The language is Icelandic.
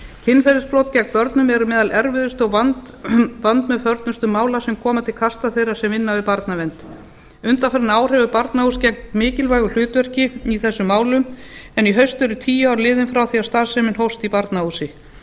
kynferðisbrot gegn börnum eru meðal erfiðustu og vandmeðförnustu mála sem koma til kasta þeirra sem vinna við barnavernd undanfarin ár hefur barnahús gegnt mikilvægu hlutverki í þessum málum en í haust eru tíu ár liðin frá því að starfsemi hófst í barnahúsi